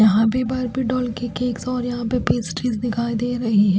यहाॅं भी Barbie doll के केक्स और यहाॅं पे पेस्ट्रीज दिखाई दे रहीं हैं।